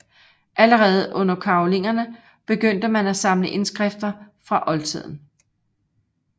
Allerede under karolingerne begyndte man at samle indskrifter fra oldtiden